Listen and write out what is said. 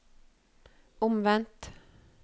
omvendt